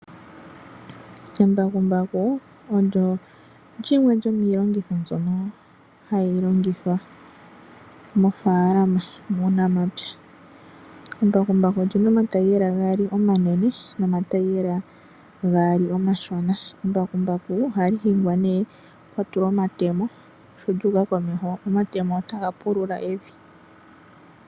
Embakumbaku olyo lyimwe lyomiyenditho mbyoka hayi longiithwa mofaalama muunamapya. Embakumbaku olyina omataiyela gaali omanene nagaali omashona. Embakumbaku ohali hingwa ne kwatulwa omatemo sho lyuuka komeho omatemo otaga pulula evi.